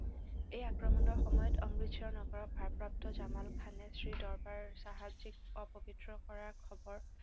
এই আক্ৰমণৰ সময়ত অমৃতচৰ নগৰৰ ভাৰপ্ৰাপ্ত জামাল খানে শ্ৰীদৰবাৰ চাহাবজীক অপৱিত্ৰ কৰাৰ খৱৰ